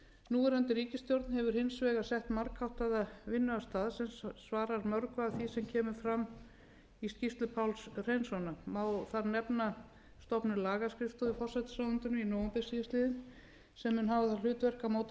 núverandi ríkisstjórn hefur hins vegar sett margháttaða vinnuaðstöðu sem svarar mörgu af því sem kemur fram í skýrslu páls hreinssonar má þar nefna stofnun lagaskrifstofu í forsætisráðuneytinu í nóvember síðastliðinn sem mun hafa það hlutverk að móta